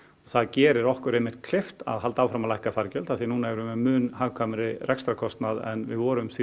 það gerir okkur einmitt kleift að halda áfram að lækka fargjöld af því að núna erum við með mun hagkvæmari rekstrarkostnað en við vorum því